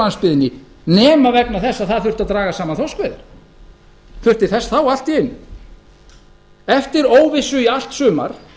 landsbyggðinni nema vegna þess að það þurfti að draga saman þorskveiðar þurfti þess þá allt í einu eftir óvissu í allt sumar